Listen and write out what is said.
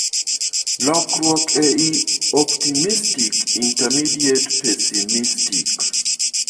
Lokruok ei Optimistic intermediate Pesimistic.